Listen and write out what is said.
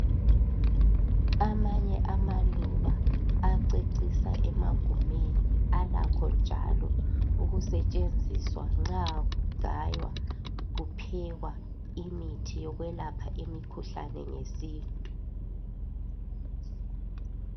Amanye amaluba acecisa emagumeni alakho njalo ukusetshenziswa nxa kugaywa kuphekwa imithi yokwelapha imikhuhlane ngesintu.